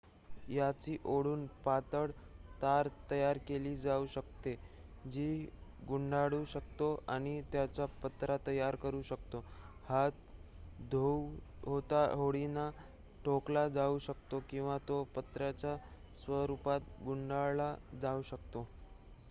याची ओढून पातळ तार तयार केली जाऊ शकते जी गुंडाळू शकतो आणि त्याचा पत्रा तयार करू शकतो हा धातू हातोडीने ठोकला जाऊ शकतो किंवा तो पत्र्याच्या स्वरुपात गुंडाळला जाऊ शकतो